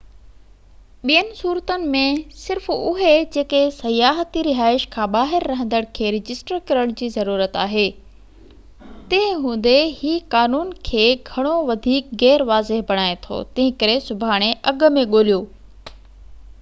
ٻين صورتن ۾ صرف اهي جيڪي سياحتي رهائش کان ٻاهر رهندڙن کي رجسٽر ڪرڻ جي ضرورت آهي تنهن هوندي هي قانون کي گهڻو وڌيڪ غير واضح بڻائي ٿو تنهنڪري سڀاڻي اڳ ۾ ڳوليو